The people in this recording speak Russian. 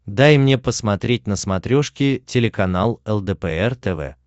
дай мне посмотреть на смотрешке телеканал лдпр тв